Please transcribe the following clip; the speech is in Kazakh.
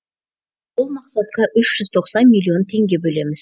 ол мақсатқа үш жүз тоқсан миллион теңге бөлеміз